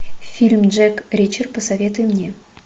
фильм джек ричер посоветуй мне